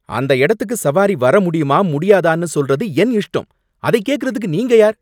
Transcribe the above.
அந்த இடத்துக்கு சவாரி வர முடியுமா முடியாதான்னு சொல்றது என் இஷ்டம். அதைக் கேக்கிறதுக்கு நீங்க யார்